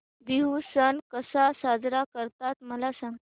बिहू सण कसा साजरा करतात मला सांग